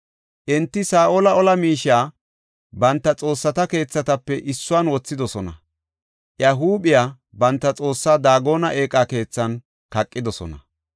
Enti Saa7ola ola miishiya banta xoossata keethatape issuwan wothidosona; iya huuphiya banta Xoossa Daagona eeqa keethan kaqidosona.